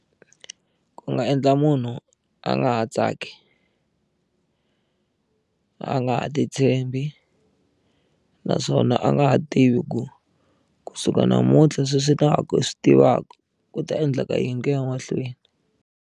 Ku nga endla munhu a nga ha tsaki a nga ha ti tshembi naswona a nga ha tivi ku kusuka namuntlha sweswi ta ha swi tivaka ku ta endleka yini ku ya mahlweni.